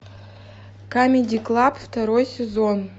камеди клаб второй сезон